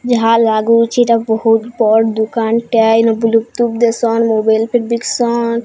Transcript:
ଯାହା ଲାଗୁଚି ଏଟା ବୋହୁତ ବଡ଼ ଦୁକାନ୍ ଟିଆଏ ଏଲ ବୁଲୁଟୁଥ୍ ଦେସନ୍ ମୋବାଇଲ୍ ଫିର୍ ବିକସନ୍।